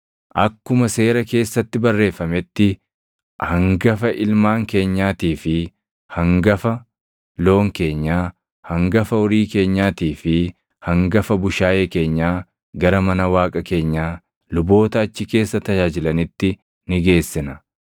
“Akkuma Seera keessatti barreeffametti hangafa ilmaan keenyaatii fi hangafa loon keenyaa, hangafa horii keenyaatii fi hangafa bushaayee keenyaa gara mana Waaqa keenyaa, luboota achi keessa tajaajilanitti ni geessina.